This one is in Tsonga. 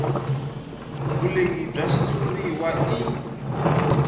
vulehi bya xitshuriwa i